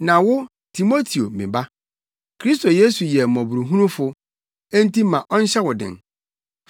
Na wo, Timoteo me ba, Kristo Yesu yɛ mmɔborɔhunufo, enti ma ɔnhyɛ wo den.